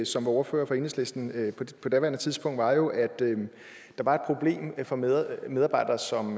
som var ordfører for enhedslisten på daværende tidspunkt var jo at der var et problem for medarbejdere som